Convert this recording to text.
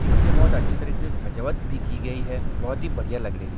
टिंग से बहुत ही अच्छे तरीके से सजावट भी की गयी है बहुत ही बड़िया लग रही है।